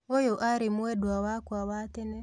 ũyũ arĩ mwendwa wake wa tene